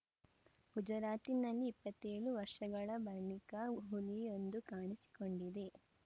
ಗುಜರಾತಿನಲ್ಲಿ ಇಪ್ಪತ್ತ್ ಏಳು ವರ್ಷಗಳ ಬಳಿಕ ಹುಲಿಯೊಂದು ಕಾಣಿಸಿಕೊಂಡಿದೆ